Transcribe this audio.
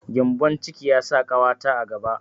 Gembon ciki ya sa ƙawata a gaba.